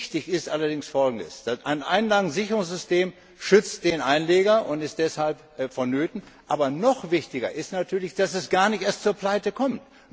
Wichtig ist allerdings Folgendes Ein Einlagensicherungssystem schützt den Einleger und ist deshalb vonnöten. Aber noch wichtiger ist natürlich, dass es gar nicht erst zur Pleite kommt.